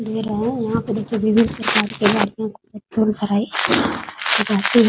दे रहे है यहाँ पे देखिये विभिन्न प्रकार के --